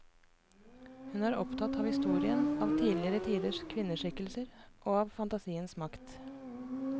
Hun er opptatt av historien, av tidligere tiders kvinneskikkelser, og av fantasiens makt.